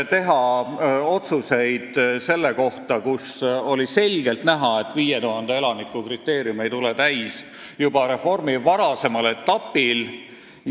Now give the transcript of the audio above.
– teha erandotsuseid, kui oli selgelt näha, et 5000 elaniku kriteerium ei tule täis juba reformi varasemal etapil.